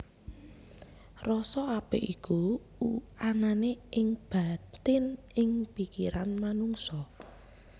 Rasa apik iku anané ing batin ing pikiran manungsa